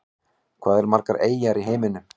Hvað eru margar eyjar í heiminum?